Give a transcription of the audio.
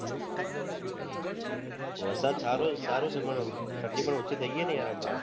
વરસાદ સારો સારો છે પણ ઠંડી પણ ઓછી થઇ ગઈ ને પણ યાર અમણા